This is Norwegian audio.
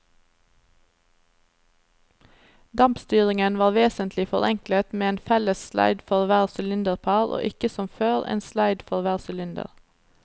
Dampstyringen var vesentlig forenklet med en felles sleid for hvert sylinderpar og ikke som før, en sleid for hver sylinder.